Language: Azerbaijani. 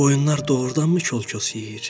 Qoyunlar doğurdanmı kol-kos yeyir?